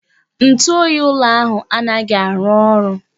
Ntụ oyi ụlọ ahụ anaghị arụ ọrụ